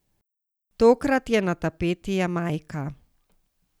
Tokrat je na tapeti Jamajka.